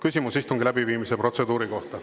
Küsimus istungi läbiviimise protseduuri kohta.